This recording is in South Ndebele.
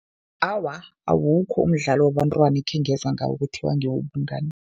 Awa, awukho umdlalo wabentwana ekhengezwa ngawo kuthiwa ngewobungani.